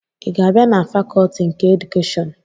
Ị ga-abịa na fakọtị nke edukeshọn?